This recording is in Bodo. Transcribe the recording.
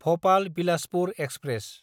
भपाल–बिलासपुर एक्सप्रेस